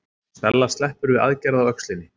Stella sleppur við aðgerð á öxlinni